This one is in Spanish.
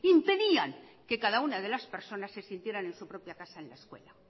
impedían que cada una de las personas se sintieran en su propia casa en la escuela